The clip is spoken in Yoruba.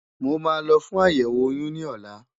Mo máa lọ fún àyẹ̀wò oyún ní ọ̀la.